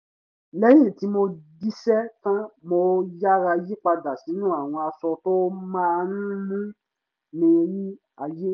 lẹ́yìn tí mo jíṣẹ́ tán mo yára yí padà sínú àwọn aṣọ tó má ń mú mi rí ààyè